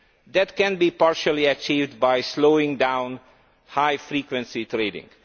That can be partially achieved by slowing down high frequency trading.